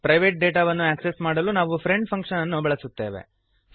private ಡೇಟಾವನ್ನು access ಮಾಡಲು ನಾವು ಫ್ರೆಂಡ್ ಫಂಕ್ಶನ್ ಅನ್ನು ಬಳಸುತ್ತೇವೆ